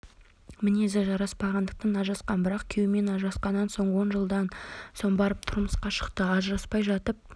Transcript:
мінезі жараспағандықтан ажырасқан бірақ күйеуімен ажырасқаннан соң он жылдан соң барып тұрмысқа шықты ажыраспай жатып